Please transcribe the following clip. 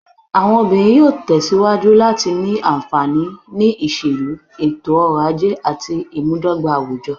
Àwọn obìnrin yóò tẹ̀ síwájú láti ní àǹfààní, ní ìṣèlú, ètò-ọrọ̀ ajé àti ìmúdọ́gba àwùjọ.